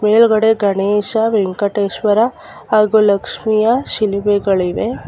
ಮೇಲ್ಗಡೆ ಗಣೇಶ ವೆಂಕಟೇಶ್ವರ ಹಾಗೂ ಲಕ್ಷ್ಮಿಯ ಶಿಲುಬೆಗಳಿವೆ.